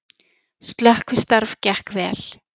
Slökkvistarf gekk vel